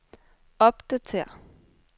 opdatér